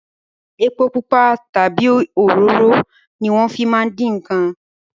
Epo pupa tabi òróró ni wọn fi máa ń dín nkàn